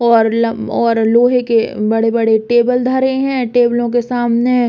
और लम और लोहे के बड़े-बड़े टेबल धरे हैं। टेबलो के सामने --